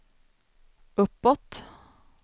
uppåt